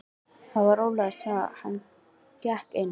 Það var ólæst svo hann gekk inn.